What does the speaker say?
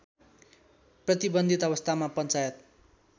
प्रतिबन्धित अवस्थामा पञ्चायत